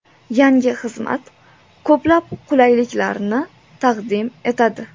Yangi xizmat ko‘plab qulayliklarni taqdim etadi.